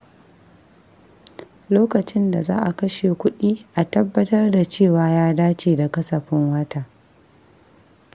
Lokacin da za a kashe kuɗi, a tabbatar da cewa ya dace da kasafin wata.